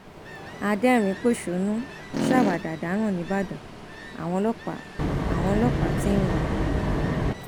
adẹrinínpọṣónú ṣàwàdà dáràn nìbàdàn àwọn ọlọpàá àwọn ọlọpàá tí ń wá a